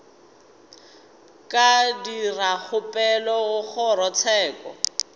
ka dira kgopelo go kgorotsheko